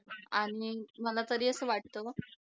हो बरोबर आणि मला तरी असं वाटतं